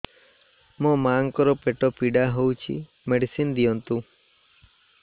ମୋ ମାଆଙ୍କର ପେଟ ପୀଡା ହଉଛି ମେଡିସିନ ଦିଅନ୍ତୁ